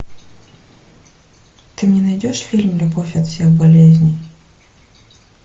ты мне найдешь фильм любовь от всех болезней